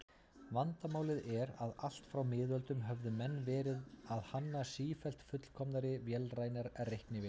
Vandamálið er að allt frá miðöldum höfðu menn verið að hanna sífellt fullkomnari vélrænar reiknivélar.